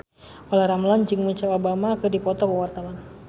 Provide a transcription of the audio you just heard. Olla Ramlan jeung Michelle Obama keur dipoto ku wartawan